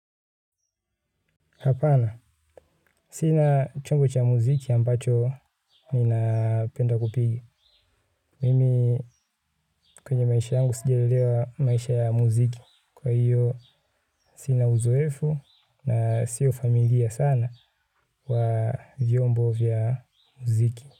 Hapana. Sina chumbo cha muziki ambacho ninapenda kupiga. Mimi kwenye maisha yangu sijelelewa maisha ya muziki. Kwa hiyo sina uzoefu na sio familia sana wa vyombo vya muziki.